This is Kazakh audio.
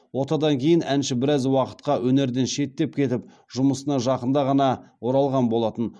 отадан кейін әнші біраз уақытқа өнерден шеттеп кетіп жұмысына жақында ғана оралған болатын